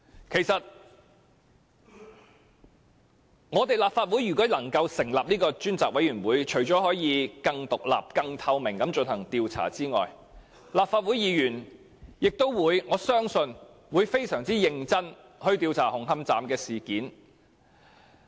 如果立法會能夠成立專責委員會，除了可以更獨立、更透明地進行調查外，我相信立法會議員會非常認真地調查紅磡站事件。